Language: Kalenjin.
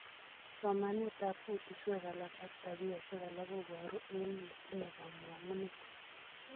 Somanetap kutuswek alak ak tapioshek alak koporu en netinye komongunet.